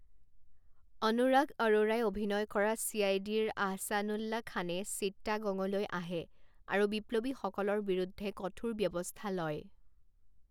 অনুৰাগ অৰোৰাই অভিনয় কৰা চি আই ডিৰ আহছানুল্লা খানে চিত্তাগঙলৈ আহে আৰু বিপ্লৱীসকলৰ বিৰুদ্ধে কঠোৰ ব্যৱস্থা লয়।